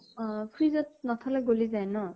অ fridge ত নথলে গলি যায় ন?